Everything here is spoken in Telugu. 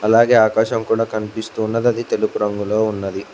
అలాగే ఆకాశం కూడా కనిపిస్తూ ఉన్నది అది తెలుపు రంగులో ఉన్నది.